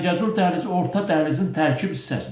Zəngəzur dəhlizi Orta Dəhlizin tərkib hissəsidir.